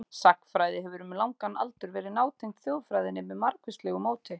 Sagnfræði hefur um langan aldur verið nátengd þjóðfræðinni með margvíslegu móti.